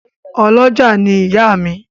Ọ́lọjá ni ìyá mi